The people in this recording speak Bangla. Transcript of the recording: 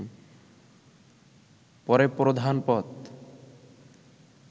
পরে প্রধান পদ